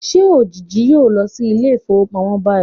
Will shade go to the bank now?